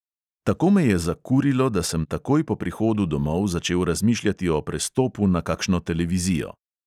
Tako me je zakurilo, da sem takoj po prihodu domov začel razmišljati o prestopu na kakšno televizijo.